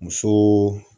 Muso